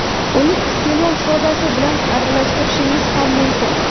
Uni iste’mol sodasi bilan aralashtirishingiz ham mumkin.